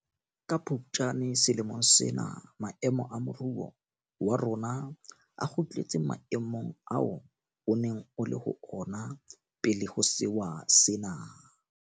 Ka Phuptjane selemong sena maemo a moruo wa rona a kgutletse maemong ao o neng o le ho ona pele ho sewa sena.